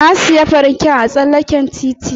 Na siya fanke ɗin a tsallaken titi.